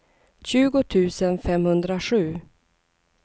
tjugo tusen femhundrasju